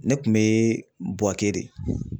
Ne kun bɛ Buwake de